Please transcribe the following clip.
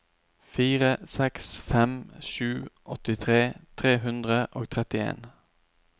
fire seks fem sju åttitre tre hundre og trettien